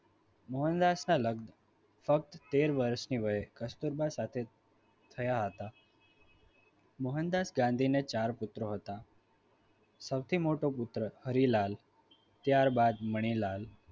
મોહનદાસ ના લગ્ન ફક્ત તેર વર્ષની વયે કસ્તુરબા સાથે થયા હતા મોહનદાસ ગાંધીને ચાર પુત્ર હતા સૌથી મોટો પુત્ર હરીલાલ ત્યારબાદ મણીલાલ